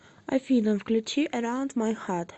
афина включи эраунд май харт